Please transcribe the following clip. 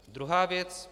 Druhá věc.